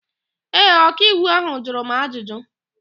Ee, ọkaiwu áhụ̀ jụrụ m ajụjụ.